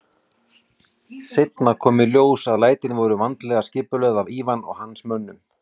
Seinna kom í ljós að lætin voru vandlega skipulögð af Ivan og hans mönnum.